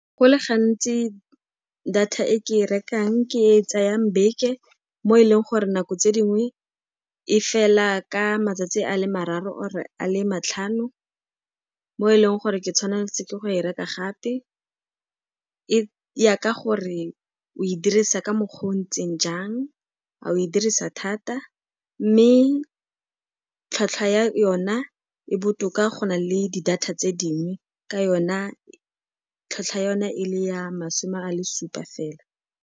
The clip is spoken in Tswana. Go le gantsi data e ke e rekang ke e e tsayang beke, mo e leng gore nako tse dingwe e fela ka matsatsi a le mararo or-e a le matlhano, mo e leng gore ke tshwanna ke go e reka gape. E ya ka gore o e dirisa ka mokgwa o o ntseng jang, kgotsa o e dirisa thata mme tlhwatlhwa ya yona e botoka go na le di data tse dingwe, ka yona tlhwatlhwa yona e le ya masome a le supa fela.